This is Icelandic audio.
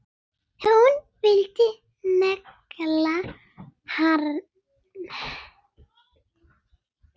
Hún vildi negla hann!